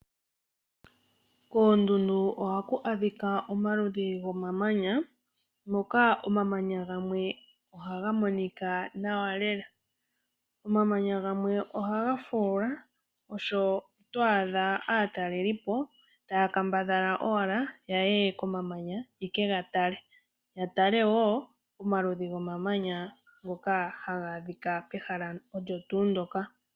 Koondundu ohaku adhika omaludhi gomamanya, Moka omamanya ngamwe ohangamonika nawa lela, Omamanya ngamwe ohangafula, osho twadha atalelipo taya kambadhala owala yaye komamanya yekegatale, yatale wo omaludhi gomamanya ngoka hangadhika pehala olyo tu lyoka.